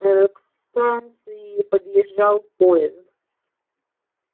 ээ к станции подъезжал поезд